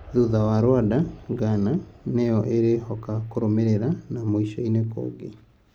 Thutha wa Rwanda, Ghana nĩyo ĩrĩhoka kũrũmĩrĩra na mwico-inĩ kũngĩ.